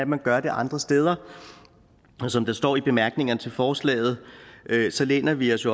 man gør det andre steder som der står i bemærkningerne til forslaget læner vi os